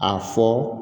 A fɔ